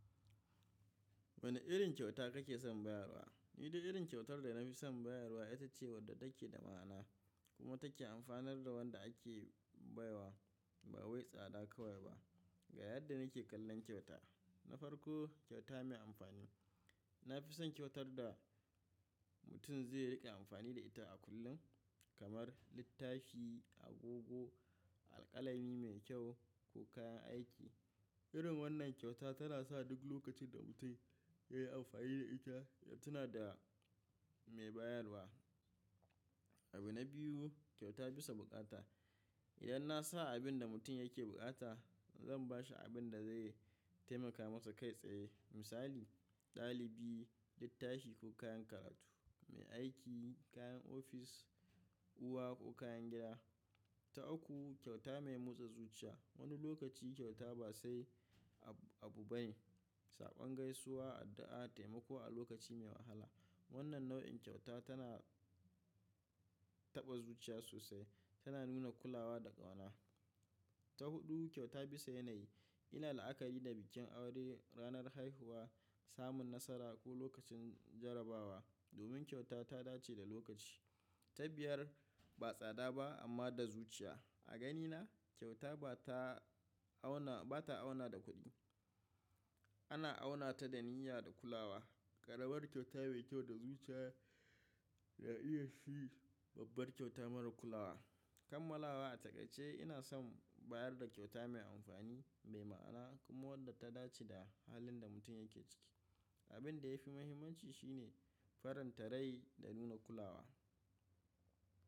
Wane irin kyauta kake son bayarwa? Ni dai irin kyautar da na fi son bayarwa ita ce wadda take da ma'ana kuma take amfanar da wanda ake baiwa ba wai tsada kawai ba. Ga yadda nike kallon kyauta. Na farko kyauta mai amfani. Na fi son kyautar da mutum zai riƙe amfani da ita a kullum, kamar littafi, agogo, alƙalami mai kyau ko kayan aiki. Irin wannan kyauta tana sa duk lokacin da mutum yayi amfani da ita ya tuna da mai bayarwa. Abu na biyu, kyauta bisa buƙata. Idan na sa abin da mutum yake buƙata, zan bashi abin da zai taimaka masa kai tsaye. Misali, ɗalibi littafi ko kayan karatu, mai aiki kayan ofis, uwa ko kayan gida. Ta uku, kyauta mai motsa zuciya. Wani lokaci kyauta ba sai abu bane, saɓan gaisuwa, addu'a, taimako a lokaci mai wahala. Wannan nau'in kyauta tana taɓa zuciya sosai, tana nuna kulawa da ƙauna. Ta huɗu, kyauta bisa yanayi. Ina la'akari da bikin aure, ranar haihuwa, samun nasara ko lokacin jarabawa. Domin kyauta ta dace da lokaci. Ta biyar, ba tsada ba amma da zuciya. A ganina kyauta ba ta auna, ba ta auna da kuɗi. Ana auna ta da niyya da kulawa. Karamar kyauta mai kyau da zuciya ya iya shi babbar kyauta mara kulawa. Kammalawa a takaice ina son bayar da kyauta mai amfani, mai ma'ana kuma wadda ta dace da halin da mutum yake ciki. Abin da yafi muhimmanci shine farin tare da nuna kulawa.